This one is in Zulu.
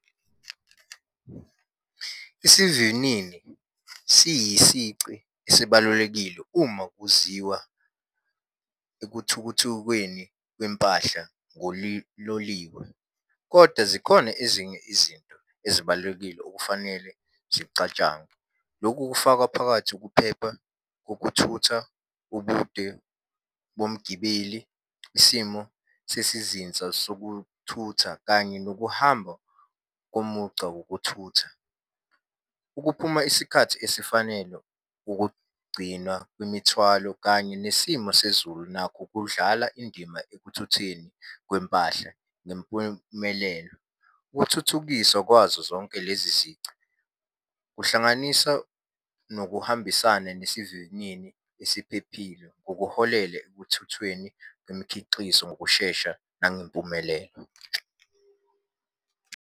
Isivinini siyisici esibalulekile uma kuziwa ekuthukuthukweni kwempahla ngoliloliwe, koda zikhona ezinye izinto ezibalulekile okufanele zicatshangwe. Lokhu kufaka phakathi ukuphepha kokuthutha ubude bomgibeli, isimo sesizinza sokuthutha, kanye nokuhamba komugca wokuthutha. Ukuphuma isikhathi esifanele ukugcina kwemithwalo kanye nesimo sezulu nakho kudlala indima ekuthutheni kwempahla kwempumelelo. Ukuthuthukiswa kwazo zonke lezi zici kuhlanganisa nokuhambisana nesivinini esiphephile ngokuholele ekuthuthweni kwemikhiqizo ngokushesha nangempumelelo.